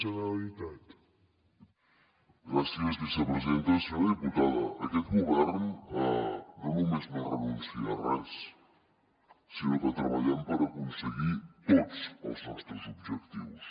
senyora diputada aquest govern no només no renuncia a res sinó que treballem per aconseguir tots els nostres objectius